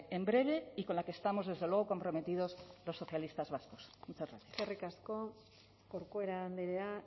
en breve y con la que estamos desde luego comprometidos los socialistas vascos muchas gracias eskerrik asko corcuera andrea